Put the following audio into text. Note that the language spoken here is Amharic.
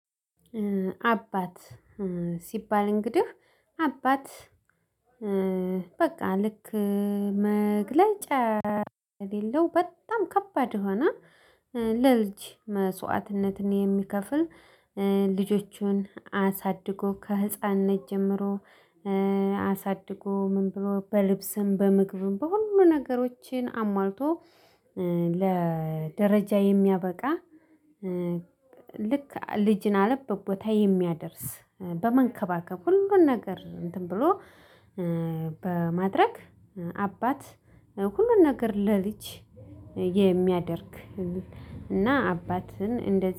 አባት ኧ ሲባል እንግዲህ አባት እ በቃ ልክ መግለጫ የሌለው በጣም ከባድ የሆነ ኧ ለልጅ መስዋዕትነትን የሚከፍል ልጆቹን አሳድጎ ከህፃንነት ጀምሮ አሳድጎ ምን ብሎ በልብስም በምግብም በሁሉ ነገሮችን አሟልቶ ለደረጃ የሚያበቃ ልክ ልጅን አለበት ቦታ የሚያደርስ በመንከባከብ ሁሉን ነገር እንትን ብሎ በማድረግ አባት ሁሉን ነገር ለልጅ የሚያደርግ። እና አባትን እንደዚህ